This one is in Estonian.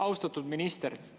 Austatud minister!